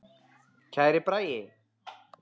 Kæri Bragi.